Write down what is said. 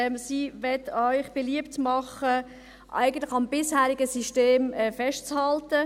Sie möchte Ihnen beliebt machen, eigentlich am bisherigen System festzuhalten.